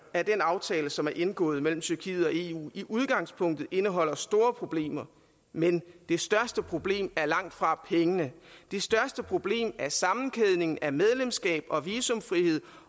at den aftale som er indgået mellem tyrkiet og eu i udgangspunktet indeholder store problemer men det største problem er langt fra pengene det største problem er sammenkædningen af medlemskab og visumfrihed